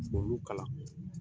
K'olu kalan